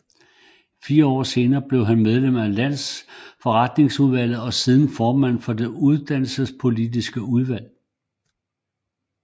Fire år senere blev han medlem af landsforretningsudvalget og siden formand for det uddannelsespolitiske udvalg